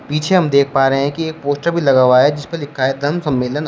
पीछे हम देख पा रहे हैं कि यह पोस्टर भी लगा हुआ है जिसपर लिखा है धम्म सम्मेलन और--